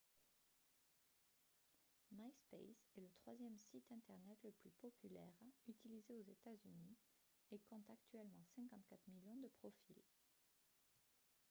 myspace est le troisième site internet le plus populaire utilisé aux états-unis et compte actuellement 54 millions de profils